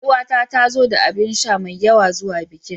Ƴaruwata ta zo da abinsha mai yawa zuwa bikin.